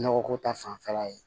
Nɔgɔ ko ta fanfɛla ye